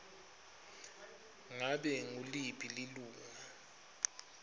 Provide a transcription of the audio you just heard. ngabe nguliphi lilunga